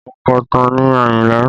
Ònkọ̀tan ni Ayinla